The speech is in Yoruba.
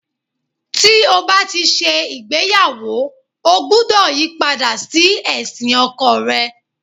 Tí o bá ti ṣe ìgbéyàwó, ọ gbúdọ̀ yí padà sí ẹ̀sìn ọkọ rẹ.